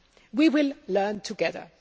We will learn together.